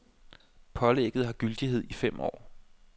Pålægget har gyldighed i fem år.